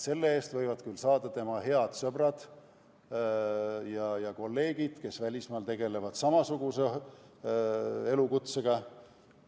Selle eest võivad küll kasu saada tema head sõbrad ja kolleegid välismaal, kes tegelevad samasuguse elukutsega.